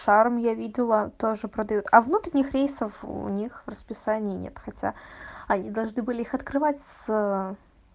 шарм я видела тоже продают а внутренних рейсов у них в расписании нет хотя они должны были их открывать с